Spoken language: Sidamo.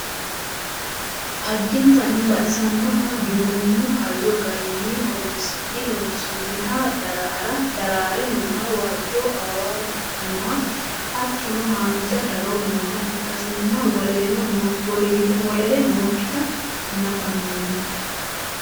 addinta baxisannoha giwirinnu hayyo garinni horonsi'ne lonsoonniha daraare nooha waajjo awawa afirinoha hattono haanja daro nooha ikkasinna wolere nookkita nafanni